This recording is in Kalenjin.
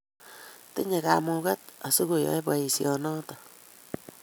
Tinyei kamugeet asikoyei boisiet noto